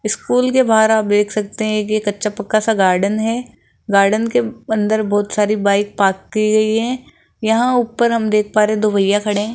School के बाहर आप सकते हैं कि ये कच्चा पक्का सा गार्डन है गार्डन के अंदर बहुत सारी बाइक पार्क की गई हैं यहां ऊपर हम देख पा रहे दो भैया खड़े हैं।